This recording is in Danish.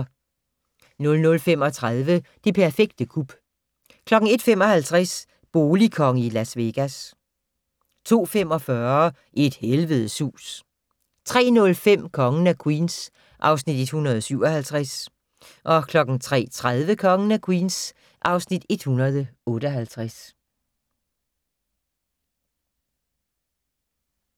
00:35: Det perfekte kup 01:55: Boligkonge i Las Vegas 02:45: Et helvedes hus 03:05: Kongen af Queens (Afs. 157) 03:30: Kongen af Queens (Afs. 158)